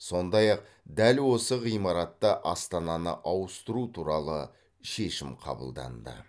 сондай ақ дәл осы ғимаратта астананы ауыстыру туралы шешім қабылданды